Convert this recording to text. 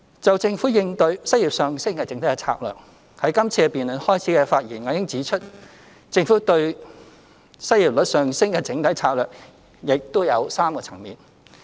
就政府應對失業上升的整體策略，在今次辯論開始時的發言，我已指出，政府應對失業率上升的整體策略亦有3個層面。